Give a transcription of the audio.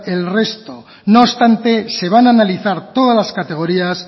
el resto no obstante se van a analizar todas las categorías